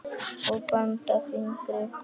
og banda fingri.